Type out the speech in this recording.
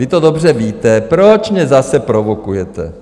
Vy to dobře víte, proč mě zase provokujete?